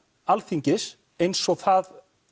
Alþingis eins og það